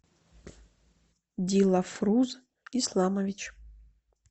дилафруз исламович